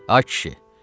Ay kişi,